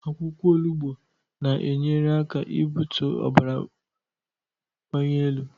Akwụkwọ onugbu na-enyere aka ị bụtụ ọbara banyielu